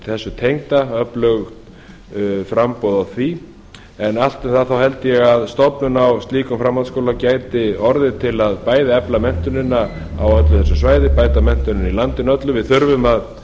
þessu tengda öflug framboð á því en aftur þá held ég að stofnun á slíkum framhaldsskóla gæti orðið bæði til að efla menntunina á öllu þessu svæði bæta menntunina í landinu öllu við þurfum að